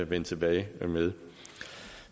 vende tilbage med